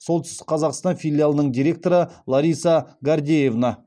солтүстік қазақстан филиалының директоры лариса гордеевна